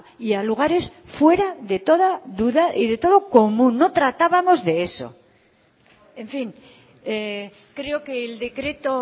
y a lugares fuera de toda duda y de todo común no tratábamos de eso en fin creo que el decreto